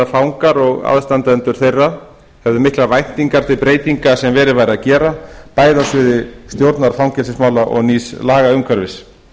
fangar og aðstandendur þeirra hefðu miklar væntingar til breytinga sem verið væri að gera bæði á sviði stjórnar fangelsismála og nýs lagaumhverfis